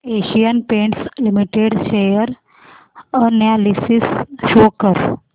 Asian paints limited share analysis show कर